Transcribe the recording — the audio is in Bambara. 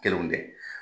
Kelenw tɛ